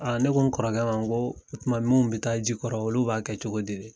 Aaa ne ko n kɔrɔkɛ ma nkoo o tuma mun be taa ji kɔrɔ olu b'a kɛ cogo di de?